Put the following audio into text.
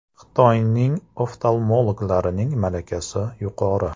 Xitoylik oftalmologlarning malakasi yuqori.